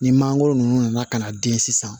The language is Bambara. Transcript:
Ni mangoro ninnu nana ka na den sisan